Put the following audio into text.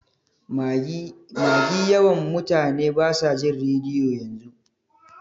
Magi yawan mutane basa jin rediyo yanzu.